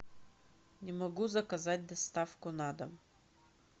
не могу заказать доставку на дом